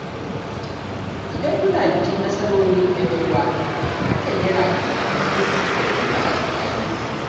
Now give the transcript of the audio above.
Idan muna bikin nasarorin ‘yan uwa, hakan yana ƙarfafa zumunci da ƙauna a tsakaninmu.